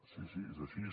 sí sí és així